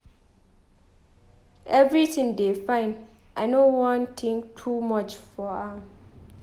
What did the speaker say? Everything go dey fine. I know wan think too much about am